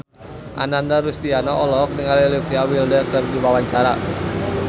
Ananda Rusdiana olohok ningali Olivia Wilde keur diwawancara